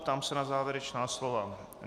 Ptám se na závěrečná slova?